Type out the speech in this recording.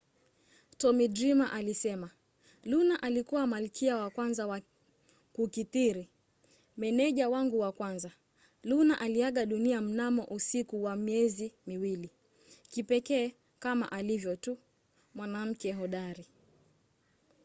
tommy dreamer alisema luna alikuwa malkia wa kwanza wa kukithiri. meneja wangu wa kwanza. luna aliaga dunia mnamo usiku wa miezi miwili. kipekee kama alivyo tu. mwanamke hodari.